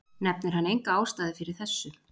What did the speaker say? Nefnir hann enga ástæðu fyrir þessu.